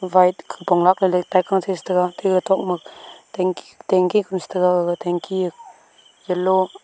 white khupong lakla ley taika chaI chI ngantaga atte gag tok ma tanky tanky kunu cha taga gag tanky yellow .